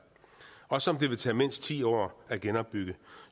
og som det vil tage mindst ti år at genopbygge